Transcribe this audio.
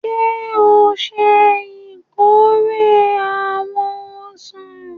Ṣe o ṣe ìkórè awọn ọsan?